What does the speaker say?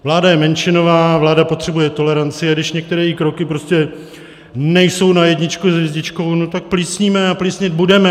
Vláda je menšinová, vláda potřebuje toleranci, a když některé její kroky prostě nejsou na jedničku s hvězdičkou, no tak plísníme a plísnit budeme.